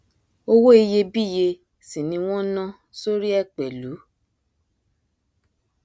owó iyebíye sì ni wọn nán sórí ẹ pẹlú